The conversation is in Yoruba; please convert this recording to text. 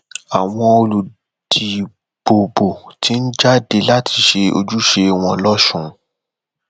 àwọn olùdìbòbò ti ń jáde láti ṣe ojúṣe wọn lọsùn